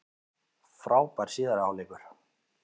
Frábær síðari hálfleikur